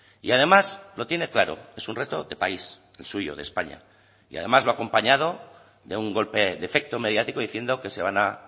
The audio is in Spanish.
y además lo tiene claro es un reto de país el suyo de españa y además lo ha acompañado de un golpe de efecto mediático diciendo que se van a